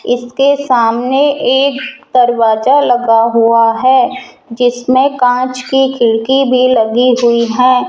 इसके सामने एक दरवाजा लगा हुआ है जिसमें कांच की खिड़की भी लगी हुई है।